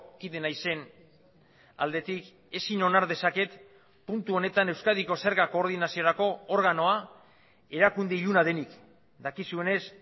kide naizen aldetik ezin onar dezaket puntu honetan euskadiko zerga koordinaziorako organoa erakunde iluna denik dakizuenez